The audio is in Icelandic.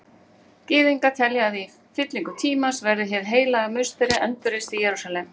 Gyðingar telja að í fyllingu tímans verði Hið heilaga musteri endurreist í Jerúsalem.